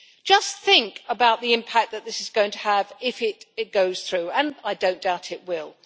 Just think about the impact that this is going to have if it goes through and I do not doubt it will.